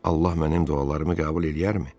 Allah mənim dualarımı qəbul eləyərmi?